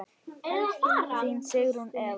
Þín Sigrún Eva.